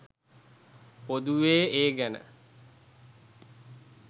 පොදුවේ ඒ ගැන